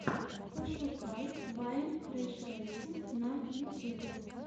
пошукай вайн крэшрэйсинг на ютьюбе